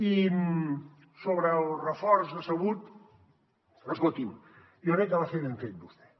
i sobre el reforç decebut escolti’m jo crec que va fer ben fet vostè